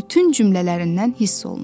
bütün cümlələrindən hiss olunur.